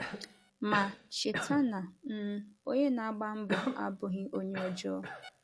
Ma, cheta na um onye na-agba mbo abụghị onye ọjọọ.